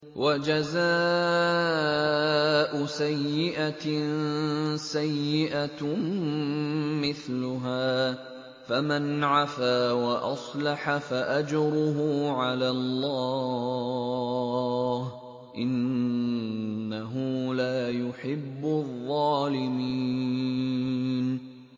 وَجَزَاءُ سَيِّئَةٍ سَيِّئَةٌ مِّثْلُهَا ۖ فَمَنْ عَفَا وَأَصْلَحَ فَأَجْرُهُ عَلَى اللَّهِ ۚ إِنَّهُ لَا يُحِبُّ الظَّالِمِينَ